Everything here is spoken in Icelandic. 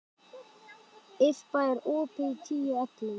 Irpa, er opið í Tíu ellefu?